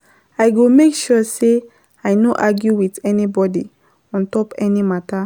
I go make sure sey I no argue wit anybodi on top any mata.